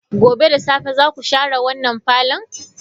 Gobe ​​da safe zaku share wannan parlour?